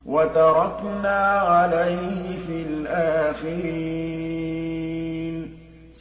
وَتَرَكْنَا عَلَيْهِ فِي الْآخِرِينَ